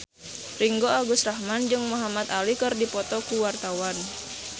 Ringgo Agus Rahman jeung Muhamad Ali keur dipoto ku wartawan